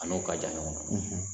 A n'o ka jan ɲɔgɔn